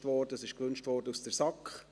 Es wurde seitens der SAK so gewünscht.